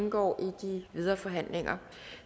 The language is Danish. indgå i de videre forhandlinger